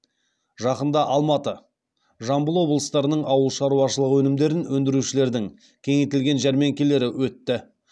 жақында алматы жамбыл облыстарының ауыл шаруашылығы өнімдерін өндірушілердің кеңейтілген жәрмеңкелері өтті